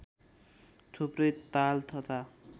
थुप्रै ताल तथा